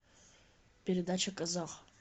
передача казах